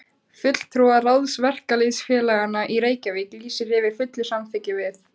FULLTRÚARÁÐS VERKALÝÐSFÉLAGANNA Í REYKJAVÍK LÝSIR YFIR FULLU SAMÞYKKI VIÐ